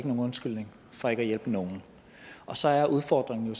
nogen undskyldning for ikke at hjælpe nogen og så er udfordringen